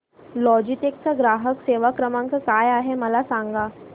Logitech चा ग्राहक सेवा क्रमांक काय आहे मला सांगा